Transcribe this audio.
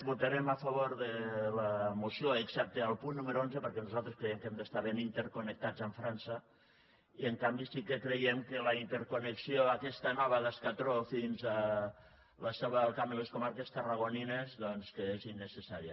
votarem a favor de la moció excepte al punt número onze perquè nosaltres creiem que hem d’estar ben interconnectats amb frança i en canvi sí que creiem que la interconnexió aquesta nova d’escatrón fins a la selva del camp i les comarques tarragonines doncs que és innecessària